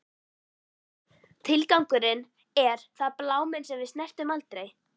Tilgangur, er það bláminn sem við snertum aldrei?